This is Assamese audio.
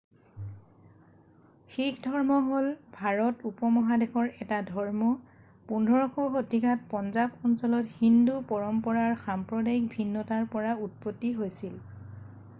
শিখধৰ্ম হ'ল ভাৰত উপ-মহাদেশৰ এটা ধৰ্ম 15শ শতিকাত পঞ্জাৱ অঞ্চলত হিন্দু পৰম্পৰাৰ সাম্প্ৰদায়িক ভিন্নতাৰ পৰা উৎপত্তি হৈছিল